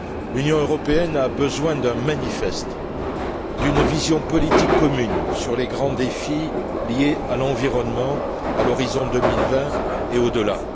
L'Union européenne a besoin d'un manifeste, d'une vision politique commune sur les grands défis liés à l'environnement à l'horizon 2020 et au delà.